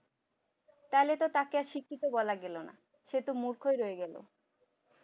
তাহলে তো তাকে আর শিক্ষিত বলা গেলো না সে তো মূর্খই রয়ে গেল